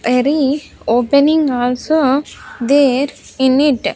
Very opening also there in it.